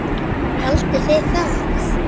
Haldiði það?